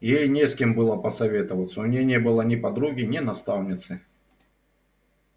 ей не с кем было посоветоваться у неё не было ни подруги ни наставницы